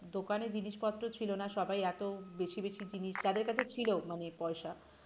দোকানে জিনিসপত্র ছিল না সবাই এত বেশি বেশি জিনিস যাদের কাছে ছিল মানে পয়সা